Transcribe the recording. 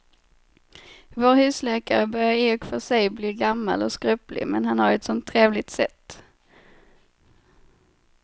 Vår husläkare börjar i och för sig bli gammal och skröplig, men han har ju ett sådant trevligt sätt!